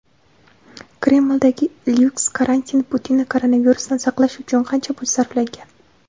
Kremldagi lyuks karantin: Putinni koronavirusdan saqlash uchun qancha pul sarflangan?.